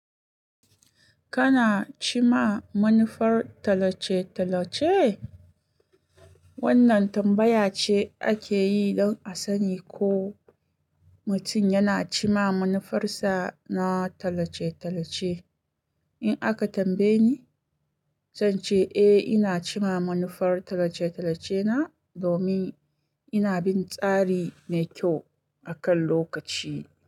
Kana cimma manufar talace-talace? Wannan tambaya ce ake yi don a sani ko mutum yana cima manufarsa na talace-talace. In aka tambaye ni, zan ce eh ina cimma manufar talace-talace na domin ina bin tsari mai kyau akan lokaci.